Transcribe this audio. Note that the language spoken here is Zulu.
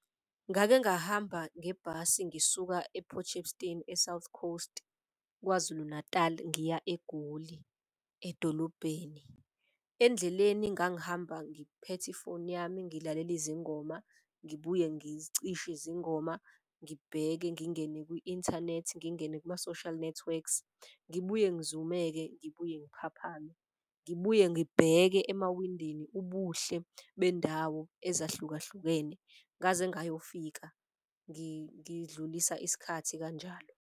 Ngake ngahamba ngebhasi ngisuka ePortshepstone eSouth Coast, KwaZulu-Natal ngiya eGoli edolobheni. Endleleni ngangihamba ngiphethe ifoni yami ngilalele izingoma, ngibuye ngizicishe zingoma. Ngibheke ngingene kwi-inthanethi, ngingene kuma-social networks, ngibuye ngizumeke, ngibuye ngiphaphame. Ngibuye ngibheke emawindini ubuhle bendawo ezahlukahlukene ngaze ngayofika ngidlulisa isikhathi kanjalo.